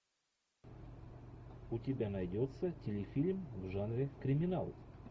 у тебя найдется телефильм в жанре криминал